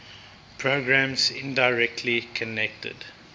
programs indirectly connected